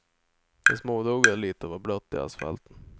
Det småduggade lite och var blött i asfalten.